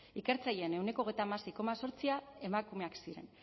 ikertzaileen ehuneko hogeita hamasei koma zortzi emakumeak ziren